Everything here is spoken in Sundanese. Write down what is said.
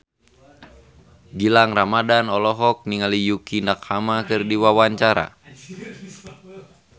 Gilang Ramadan olohok ningali Yukie Nakama keur diwawancara